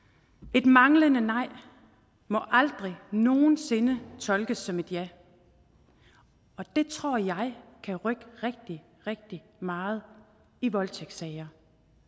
et manglende nej må aldrig nogen sinde tolkes som et ja og det tror jeg kan rykke rigtig rigtig meget i voldtægtssager